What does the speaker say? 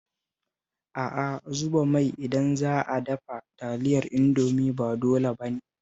A'a, zuba mai idan za a dafa Taliyar Indomi ba dole ba ne